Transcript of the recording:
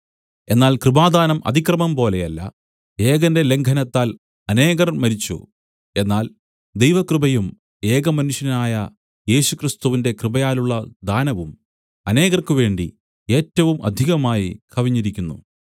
എന്നാൽ കൃപാദാനം അതിക്രമം പോലെയല്ല ഏകന്റെ ലംഘനത്താൽ അനേകർ മരിച്ചു എന്നാൽ ദൈവകൃപയും ഏകമനുഷ്യനായ യേശുക്രിസ്തുവിന്റെ കൃപയാലുള്ള ദാനവും അനേകർക്കുവേണ്ടി ഏറ്റവും അധികമായി കവിഞ്ഞിരിക്കുന്നു